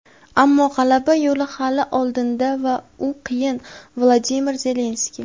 ammo g‘alaba yo‘li hali oldinda va u qiyin – Vladimir Zelenskiy.